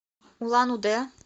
улан удэ